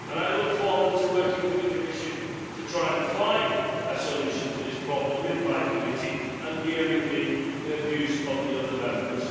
I look forward to working with the Commission to try and find a solution to this problem with my committee, and to hearing the views of the other Members.